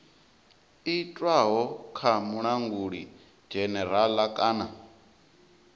itwaho kha mulanguli dzhenerala kana